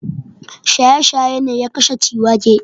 Shaye-shaye ne ya kashe Ciwake.